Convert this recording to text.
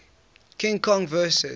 king kong vs